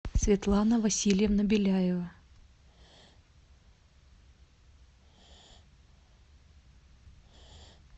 светлана васильевна беляева